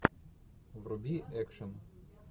вруби экшен